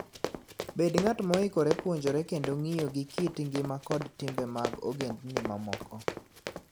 Bed ng'at moikore puonjore kendo ng'iyo gi kit ngima kod timbe mag ogendini mamoko.